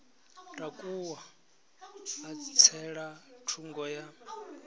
takuwa a tsela thungo ya